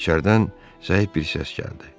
İçəridən zəif bir səs gəldi.